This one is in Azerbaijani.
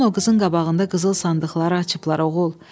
Axşam o bu qızın qabağında qızıl sandıqları açıblar, oğul.